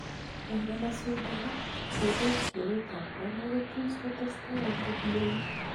eng emasweg alak ,kepet keret ap kondo kotus kotestai angot ngenya